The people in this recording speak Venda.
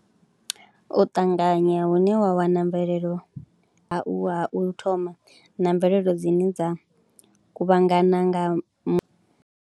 U ṱanganya hune wa wana mvelelo ha u thoma na mvelelo dzine dza kuvhangana nga mu.